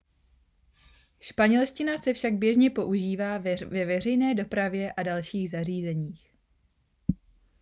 španělština se však běžně používá ve veřejné dopravě a dalších zařízeních